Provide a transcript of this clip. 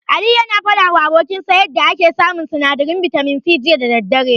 Aliyu yana faɗawa abokinsa yanda yake samun sinadarin bitamin C, jiya da daddare.